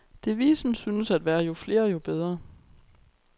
Devisen synes at være jo flere jo bedre.